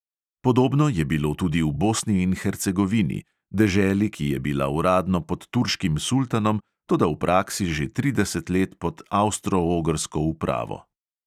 Podobno je bilo tudi v bosni in hercegovini, deželi, ki je bila uradno pod turškim sultanom, toda v praksi že trideset let pod avstro-ogrsko upravo.